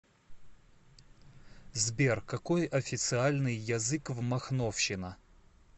сбер какой официальный язык в махновщина